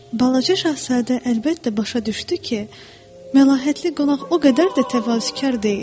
Balaca Şahzadə əlbəttə başa düşdü ki, məlahətli qonaq o qədər də təvazökar deyil.